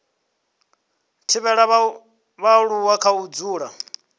thivhela vhaaluwa kha u dzula